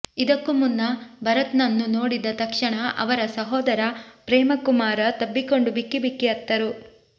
ಇದಕ್ಕೂ ಮುನ್ನ ಭರತ್ನನ್ನು ನೋಡಿದ ತಕ್ಷಣ ಅವರ ಸಹೋದರ ಪ್ರೇಮಕುಮಾರ ತಬ್ಬಿಕೊಂಡು ಬಿಕ್ಕಿ ಬಿಕ್ಕಿ ಅತ್ತರು